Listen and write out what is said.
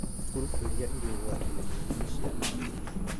Grubu irĩa irĩ ũgwati-inĩ mũnene nĩ ciana nini,